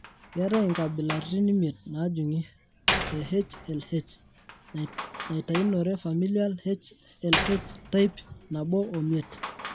Keeta inkabilaritin imiet naajung'I e HLH naaitainore familial HLH,type 1 5.